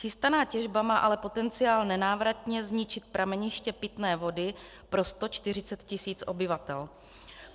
Chystaná těžba má ale potenciál nenávratně zničit prameniště pitné vody pro 140 tis. obyvatel.